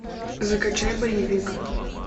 закачай боевик